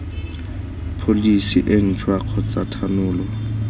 pholesi e ntšhwa kgotsa thanolo